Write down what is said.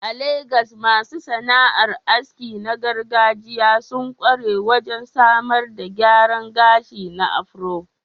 A Legas, masu sana'ar aski na gargajiya sun ƙware wajen samar da gyaran gashi na afro.